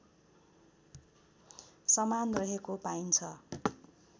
समान रहेको पाइन्छ